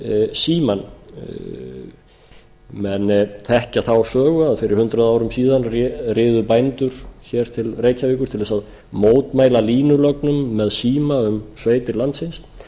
símann menn þekkja þá sögu að fyrir hundrað árum síðan riðu bændur til reykjavíkur til þess að mótmæla línulögnum með síma um sveitir landsins